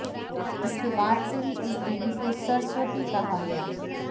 जिसके बाद से ही इस देवी को सरस्वती कहा गया